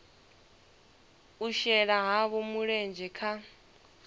u shela havho mulenzhe kha